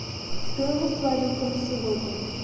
стоимость валюты на сегодня